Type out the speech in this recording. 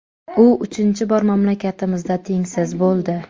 U uchinchi bor mamlakatimizda tengsiz bo‘ldi.